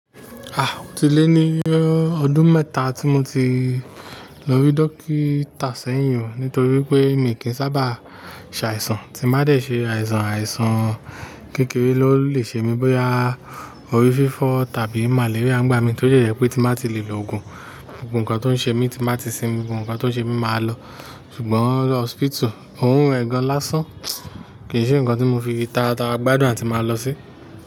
O ti lé ní ọdún mẹ́ta tí mo ti lọ rí dókítà sẹ́yìn ó nítorí pé mi kì í sábà ṣàìsàn, tí m bá dé ṣe àìsàn, àìsàn kékeré ló lè ṣe mí, bóyá orí fífọ́ tàbí màléríà ń gbá mi tó jẹ́ je pé tí m bá tí lè lo òògùn, gbogbo nkan tó ń ṣe mí tí m bá ti sinmi, gbogbo nkan tó ń ṣe mi máa lọ. Ṣùgbọ́n lọọ̀sìpìtù, òrun rẹ̀ gan lásán, kì ń ṣe ǹkan tí mo fi tàràtara gbàdùn àti máa lọ sí.